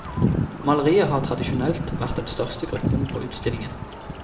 Malerier har tradisjonelt vært den største gruppen på utstillingen.